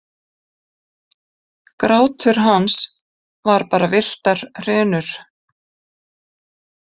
Grátur hans var bara villtar hrinur.